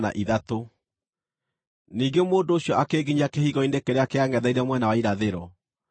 Ningĩ mũndũ ũcio akĩnginyia kĩhingo-inĩ kĩrĩa kĩangʼetheire mwena wa irathĩro,